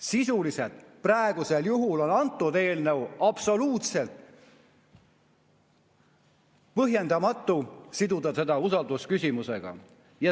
Sisuliselt on praegusel juhul absoluutselt põhjendamatu siduda see eelnõu usaldusküsimusega.